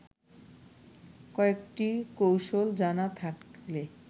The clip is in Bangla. কয়েকটি কৌশল জানা থাকলে